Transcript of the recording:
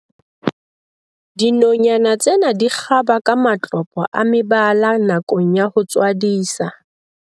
Dinonyana tsena di kgaba ka matlopo a mebala nakong ya ho tswadisa.